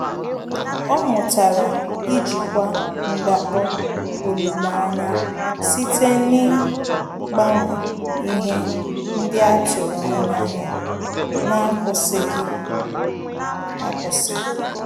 Ọ́ mụ́tàrà íjíkwá ndakpọ olileanya site n’ị́gbànwé ihe ndị a tụ́rụ́ ányá ya n’ákwụ́sị́ghị́ ákwụ́sị́.